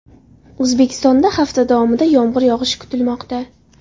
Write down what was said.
O‘zbekistonda hafta davomida yomg‘ir yog‘ishi kutilmoqda.